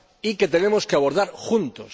Y que tenemos que abordar juntos.